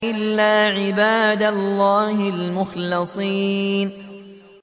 إِلَّا عِبَادَ اللَّهِ الْمُخْلَصِينَ